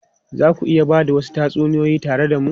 Za ku iya ba da wasu tatsuniyoyi tare da mu?